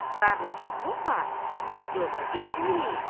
Qar laçovğunla yola getmirik.